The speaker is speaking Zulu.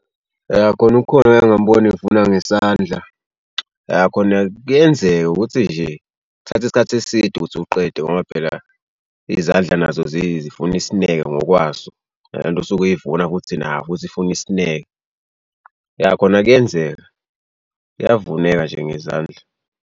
Yah kona ukhona engake ngambona evuna ngesandla. Yah khona kuyenzeka ukuthi nje kuthatha isikhathi eside ukuthi uqede ngoba phela izandla nazo zifuna isineke ngokwaso. Nale nto osuke uyivuna futhi nayo futhi ifuna isineke. Yah khona kuyenzeka, kuyavuneka nje ngezandla.